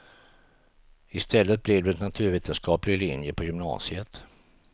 Istället blev det naturvetenskaplig linje på gymnasiet.